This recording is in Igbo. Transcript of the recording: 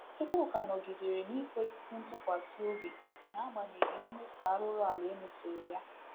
Chukwuka nọgidere n'ikwesị ntụkwasị obi n’agbanyeghị mmeso arụrụala e mesoro ya